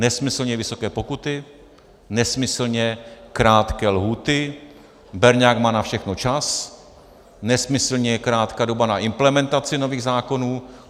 Nesmyslně vysoké pokuty, nesmyslně krátké lhůty, berňák má na všechno čas, nesmyslně krátká doba na implementaci nových zákonů.